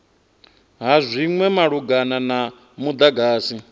ha zwinwe malugana na mudagasi